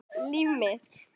Líf mitt.